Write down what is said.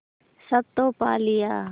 सब तो पा लिया